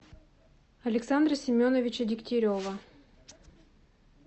александра семеновича дегтярева